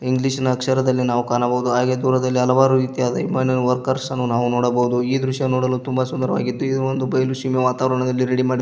English ನ ಅಕ್ಷರದಲ್ಲಿ ನಾವು ಕಾಣಬಹುದು ಹಾಗೆ ದೂರದಲ್ಲಿ ಹಲವಾರು ರೀತಿಯ ವಿಮಾನ ವರ್ಕರ್ಸ್ ಅನ್ನು ನಾವು ನೋಡಬಹುದು ಈ ದೃಶ್ಯವನ್ನು ನೋಡಲು ತುಂಬಾ ಸುಂದರವಾಗಿದ್ದು ಇದು ಒಂದು ಬಯಲು ಸೀಮೆ ವಾತಾವರಣದಲ್ಲಿ ರೆಡಿ ಮಾಡಿದ್ದು --